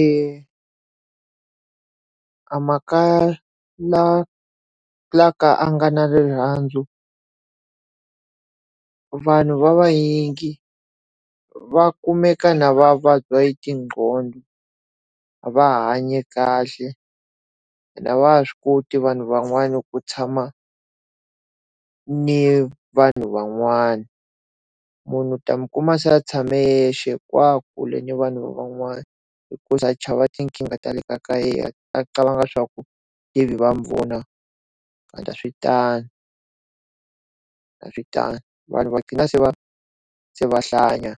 E amakaya la la lawa ka a nga na rirhandzu, vanhu lavanyingi va kumeka na va vabya hi ti nqhondo. A va ha hanyi kahle, ene a va ha swi koti vanhu van'wana ku tshama ni vanhu van'wani. Munhu u ta n'wi kuma se a tshame yexe kule ni vanhu van'wana. Hikuva a chava tinkingha ta le kaya ka yena, a qabanga swa ku maybe va n'wi vona ende a swi tano, a swi tano. Vanhu va qhina se va hlanya